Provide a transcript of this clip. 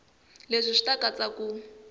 leswi swi ta katsa ku